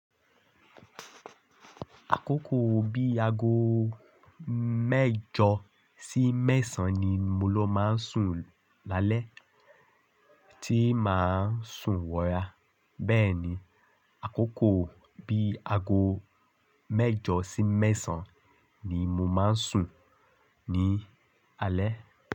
Àkókò bí i aago mẹ́jọ sí mẹ́sàn-án ni mo lọ máa ń sùn lálẹ́ tí màá sùn wọra. Bẹ́ẹ̀ni, àkókò bí i aago mẹ́jọ sí mẹ́sàn-án ni mo máa ń sùn ní alẹ́.